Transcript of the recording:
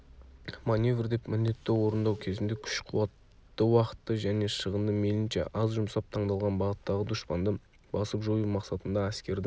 маневр деп міндетті орындау кезінде күш-қуатты уақытты және шығынды мейлінше аз жұмсап таңдалған бағыттағы дұшпанды басып жою мақсатында әскердің